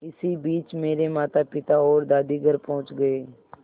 इसी बीच मेरे मातापिता और दादी घर पहुँच गए